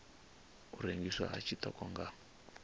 u rengiswa ha tshiṱoko nga